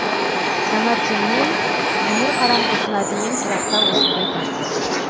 таңертеңнен іңір қараңғысына дейін тұрақта осындай тартыс